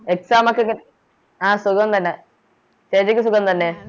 Exam ഒക്കെ ആ സുഖം തന്നെ ചേച്ചിക്ക് സുഖം തന്നെ